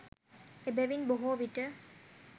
එබැවින් බොහෝවිට